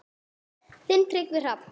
Þinn Tryggvi Hrafn.